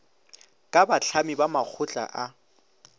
ka bahlami ba makgotla a